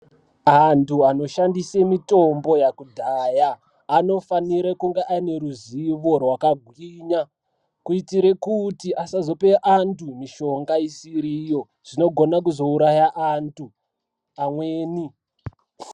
Antu anoshandese mitombo yakudhaya anofanira kunga aneruzivo rwakagwinya kuitire kuti asazope antu mishonga isiriiyo zvinogona kuzouraya antu amweni.